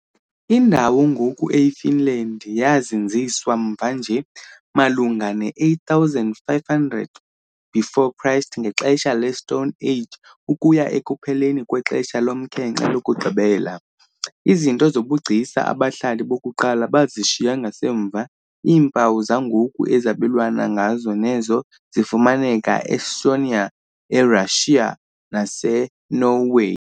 Indawo ngoku eyiFinland yazinziswa, mva nje, malunga ne-8,500 BC ngexesha leStone Age ukuya ekupheleni kwexesha lomkhenkce lokugqibela. Izinto zobugcisa abahlali bokuqala bazishiya ngasemva iimpawu zangoku ezabelwana ngazo nezo zifumaneka e-Estonia, eRashiya naseNorway.